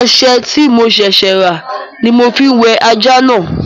Ọṣẹ tí mo ṣẹ̀ṣẹ̀ rà ní mo ma fi wẹ ajá náà